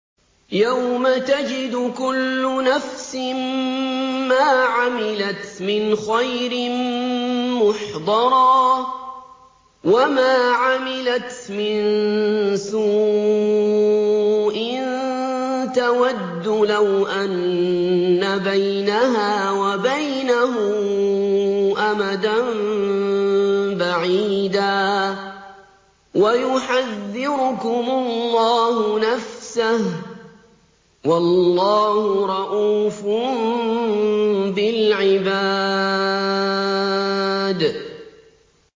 يَوْمَ تَجِدُ كُلُّ نَفْسٍ مَّا عَمِلَتْ مِنْ خَيْرٍ مُّحْضَرًا وَمَا عَمِلَتْ مِن سُوءٍ تَوَدُّ لَوْ أَنَّ بَيْنَهَا وَبَيْنَهُ أَمَدًا بَعِيدًا ۗ وَيُحَذِّرُكُمُ اللَّهُ نَفْسَهُ ۗ وَاللَّهُ رَءُوفٌ بِالْعِبَادِ